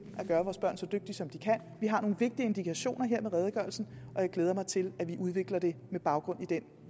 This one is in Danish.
at gøre vores børn så dygtige som de kan vi har nogle vigtige indikationer her med redegørelsen og jeg glæder mig til at vi udvikler det med baggrund i den